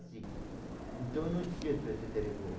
Então, eu não esqueço esse telefone.